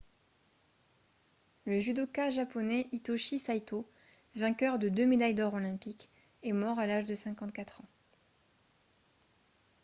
le judoka japonais hitoshi saito vainqueur de deux médailles d'or olympiques est mort à l'âge de 54 ans